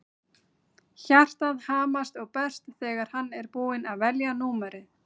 Hjartað hamast og berst þegar hann er búinn að velja númerið.